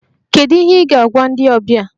Kedu ihe ị ga-agwa ndị ọbịa?